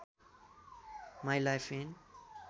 my life and